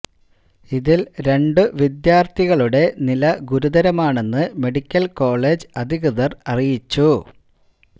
ഇതില് രണ്ടു വിദ്യാര്ഥികളുടെ നില ഗുരുതരമാണെന്ന് മെഡിക്കല് കോളജ് അധികൃതര് അറിയിച്ചു